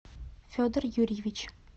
федор юрьевич